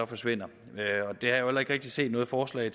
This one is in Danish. forsvinder og ikke rigtig set nogen forslag